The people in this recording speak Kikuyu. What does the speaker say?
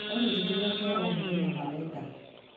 olly njĩkĩrĩra kĩa o mũthenya ma wenda